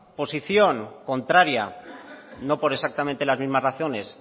posición contraria no por exactamente las mismas razones